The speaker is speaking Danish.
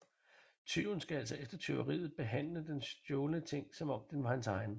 Tyven skal altså efter tyveriet behandle den stjålne ting som om den var hans egen